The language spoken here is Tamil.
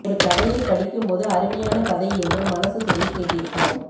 ஒரு கதையை படிக்கும் போது அருமையான கதை என்று மனசு சொல்லி கேட்டிருப்போம்